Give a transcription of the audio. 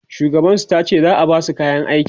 shugaban su tace za'a Basu kayan aiki